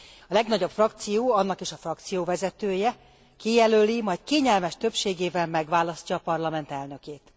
A legnagyobb frakció, annak is a frakcióvezetője kijelöli, majd kényelmes többségével megválasztja a Parlament elnökét.